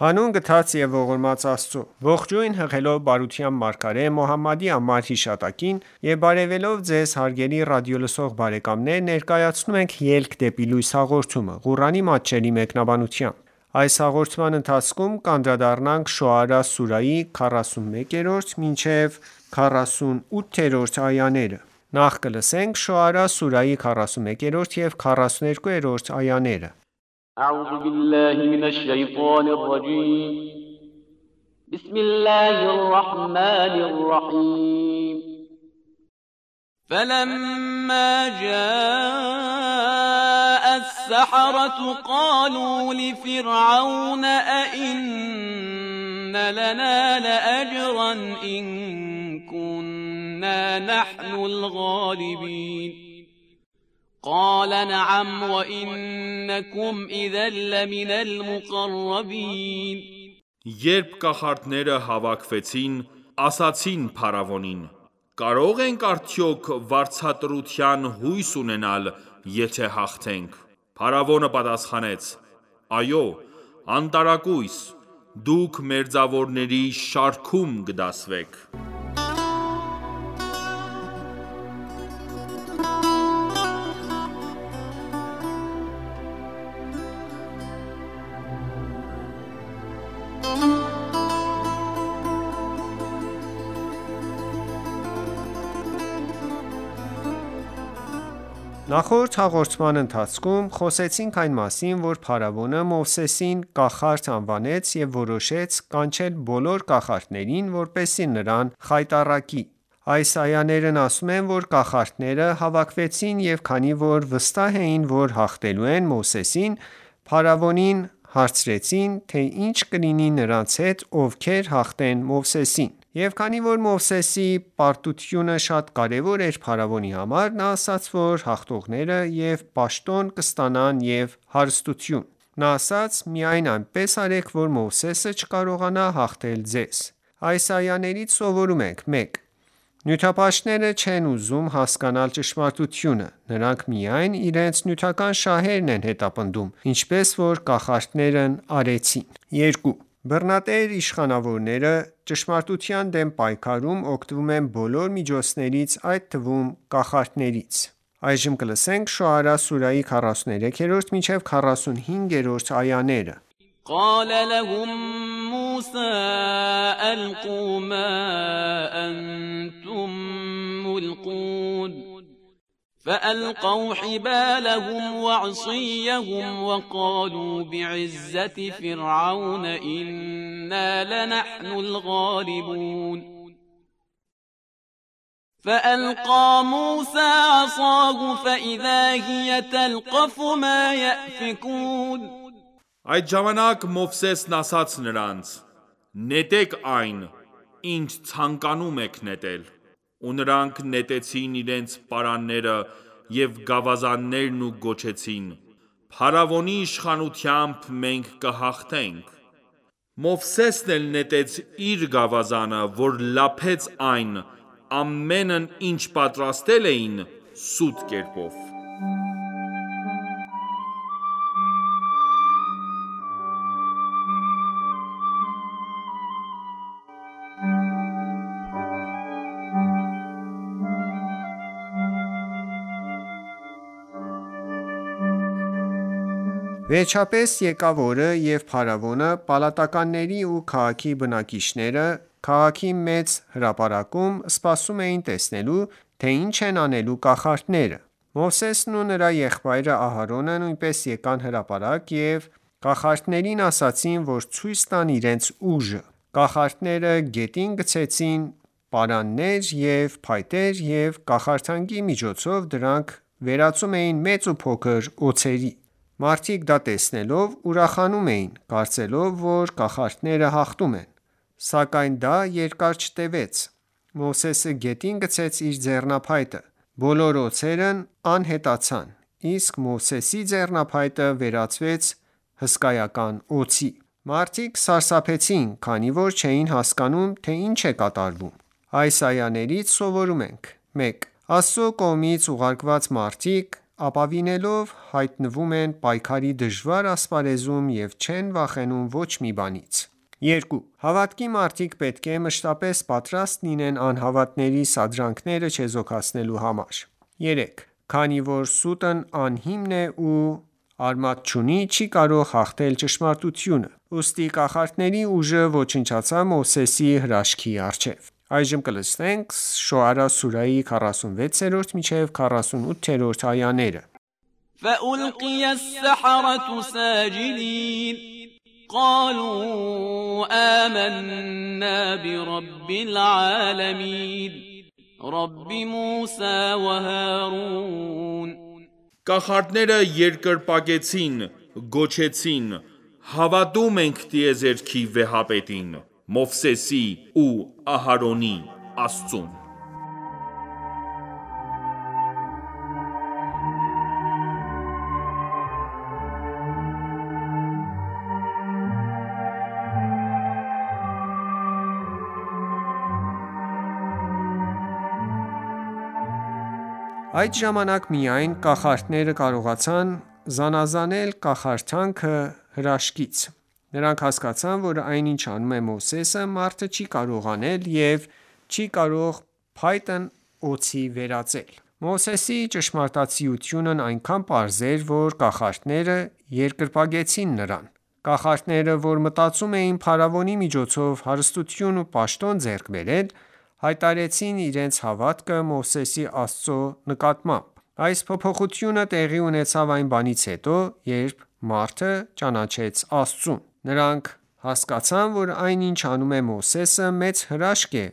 Հանուն գթած և ողորմած Աստծո:Ողջույն հղելով բարության մարգարե Մոհամմադի անմար հիշատակին եւ բարեւելով Ձեզ հարգելի ռադիոլսող բարեկամներ ներկայացնում ենք «Ելք դեպի լույս» հաղորդումը, Ղուրանի մատչելի մեկնաբանությամբ: Շոարա սուրահի 41 և 42-րդ այաներ قَالَ نَعَمْ وَإِنَّکُمْ إِذًا لَّمِنَ الْمُقَرَّبِینَ Երբ կախարդները հավաքվեցին, ասացին Փարավոնին.«Կարո՞ղ ենք արդյոք վարձատրության հույս ունենալ, եթե հաղթենք»: Փարավոնը պատասխանեց.«Այո, անտարակույս, դուք մերձավորների (շարքում) կդասվեք»: Նախորդ հաղորդման ընթացքում խոսեցինք այն մասին, որ փարավոնը Մովսեսին կախարդ անվանեց և որոշեց կանչել բոլոր կախարդներին, որպեսզի նրան խայտառակի: Այս այաներն ասում են, որ կախարդները հավաքվեցին և քանի որ վստահ էին, որ հաղթելու են Մովսեսին, փարավոնին հարցրեցին, թե ի՞նչ կլինի նրանց հետ, ովքեր հաղթեն Մովսեսին: Եվ քանի որ Մովսեսի պարտությունը շատ կարևոր էր փարավոնի համար, նա ասաց, որ հաղթողները և պաշտոն կստանան և հարստություն: Նա ասաց. «Միայն այնպես արեք, որ Մովսեսը չկարողանա հաղթել ձեզ»: Այս այաներից սովորում ենք. 1. Նյութապաշտները չեն ուզում հասկանալ ճշմարտությունը: Նրանք միայն իրենց նյութական շահերն են հետապնդում, ինչպես որ կախարդներն արեցին։ 2. Բռնատեր իշխանավորները ճշմարտության դեմ պայքարում օգտվում են բոլոր միջոցներից, այդ թվում՝ կախարդանքից։ Շոարա սուրահի 43-45-րդ այաներ قَالَ لَهُم مُّوسَى أَلْقُوا مَا أَنتُم مُّلْقُونَ فَأَلْقَوْا حِبَالَهُمْ وَعِصِیَّهُمْ وَقَالُوا بِعِزَّةِ فِرْعَوْنَ إِنَّا لَنَحْنُ الْغَالِبُونَ فَأَلْقَى مُوسَى عَصَاهُ فَإِذَا هِیَ تَلْقَفُ مَا یَأْفِکُونَ Այդ ժամանակ Մովսեսն ասաց նրանց. «Նետեք այն, ինչ ցանկանում եք նետել»: Ու նրանք նետեցին իրենց պարանները և գավազաններն ու գոչեցին. «Փարավոնի իշխանությամբ մենք կհաղթենք»: Մովսեսն էլ նետեց իր գավազանը որ լափեց այն ամենն ինչ պատրաստել էին սուտ կերպով: Վերջապես եկավ օրը և փարավոնը, պալատականներն ու քաղաքի բնակիչները, քաղաքի մեծ հրապարակում սպասում էին տեսնելու, թե ի՞նչ են անելու կախարդները: Մովսեսն ու նրա եղբայր Ահարոնը նույնպես եկան հրապարակ և կախարդներին ասացին որ ցույց տան իրենց ուժը: Կախարդները գետին գցեցին պարաններ ու փայտեր և կախարդանքի միջոցով դրանք վերածում էին մեծ ու փոքր օձերի: Մարդիկ, դա տեսնելով ուրախանում էին, կարծելով, որ կախարդները հաղթում են: Սակայն դա երկար չտևեց. Մովսեսը գետին գցեց իր ձեռնափայտը: Բոլոր օձերն անհետացան, իսկ Մովսեսի ձեռնափայտը վերածվեց հսկայական օձի: Մարդիկ սարսափեցին, քանի որ չէին հասկանում թե ինչ է կատարվում: Այս այաներից սովորում ենք. 1. Աստծո կողմից ուղարկված մարդիկ ապավինելով հայտնվում են պայքարի դժվար ասպարեզում և չեն վախենում ոչ մի բանից: 2. Հավատքի մարդիկ պետք է մշտապես պատրաստ լինեն անհավատների սադրանքները չեզոքացնելու համար: 3. Քանի որ սուտն անհիմն է ու արմատ չունի, չի կարող հաղթել ճշմարտությանը: Ուստի կախարդների ուժը ոչնչացավ Մովսեսի հրաշքի առջև: Շոարա սուրահի 46-48-րդ այաներ فَأُلْقِیَ السَّحَرَةُ سَاجِدِینَ قَالُوا آمَنَّا بِرَبِّ الْعَالَمِینَ Կախարդները երկրպագեցին Գոչեցին.«Հավատում ենք տիեզերքի վեհապետին»: Մովսեսի ու Ահարոնի Աստծուն: Այդ ժամանակ միայն կախարդները կարողացան զանազանել կախարդանքը հրաշքից: Նրանք հասկացան, որ այն ինչ անում է Մովսեսը, մարդը չի կարող անել և չի կարող փայտն օձի վերածել: Մովսեսի ճշմարտացիությունն այնքան պարզ էր, որ կախարդները երկրպագեցին նրան: Կախարդները, որ մտածում էին փարավոնի միջոցով հարստություն ու պաշտոն ձեռք բերել, հայտարարեցին իրենց հավատքը Մովսեսի Աստծո նկատմամբ: Այս փոփոխությունը տեղի ունեցավ այն բանից հետո, երբ մարդը ճանաչեց Աստծուն: Նրանք հասկացան, որ այն ինչ անում է Մովսեսը, մեծ հրաշք է,